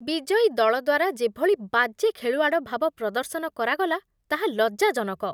ବିଜୟୀ ଦଳ ଦ୍ୱାରା ଯେଭଳି ବାଜେ ଖେଳୁଆଡ଼ ଭାବ ପ୍ରଦର୍ଶନ କରାଗଲା ତାହା ଲଜ୍ଜାଜନକ।